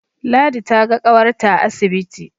Ladi ta ga ƙawarta a asibiti